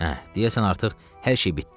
Əh, deyəsən artıq hər şey bitdi.